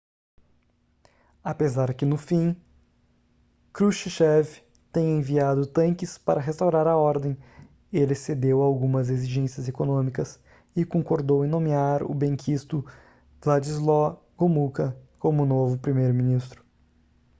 apesar que no fim krushchev tenha enviado tanques para restaurar a ordem ele cedeu a algumas exigências econômicas e concordou em nomear o benquisto wladyslaw gomulka como novo primeiro-ministro